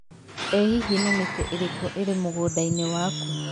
ĩ hihi nĩ mĩtĩ ĩrĩkũ ĩrĩ mũgũnda-inĩ waku